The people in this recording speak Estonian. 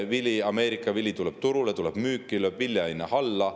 Vili, Ameerika vili, tuleb turule, tuleb müüki, lööb vilja hinna alla.